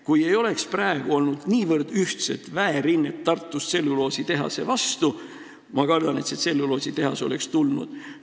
Kui Tartus ei oleks praegu olnud niivõrd ühtset väerinnet tselluloositehase vastu, siis kardetavasti see tselluloositehas oleks ehitatud.